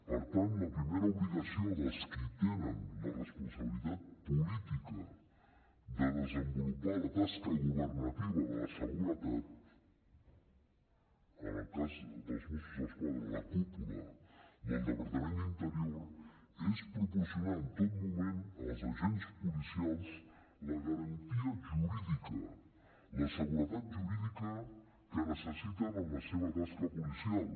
per tant la primera obligació dels qui tenen la responsabilitat política de desenvolupar la tasca governativa de la seguretat en el cas dels mossos d’esquadra la cúpula del departament d’interior és proporcionar en tot moment als agents policials la garantia jurídica la seguretat jurídica que necessiten en la seva tasca policial